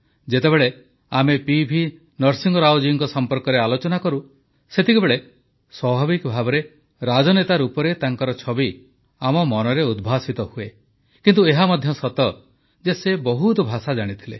ଯେତେବେଳେ ଆମେ P V Narasimharao ଜୀଙ୍କ ସମ୍ପର୍କରେ ଆଲୋଚନା କରୁ ସେତେବେଳେ ସ୍ୱାଭାବିକ ଭାବେ ରାଜନେତା ରୂପରେ ତାଙ୍କର ଛବି ଆମ ମନରେ ଉଦ୍ଭାସିତ ହୁଏ କିନ୍ତୁ ଏହା ମଧ୍ୟ ସତ ଯେ ସେ ବହୁତ ଭାଷା ଜାଣିଥିଲେ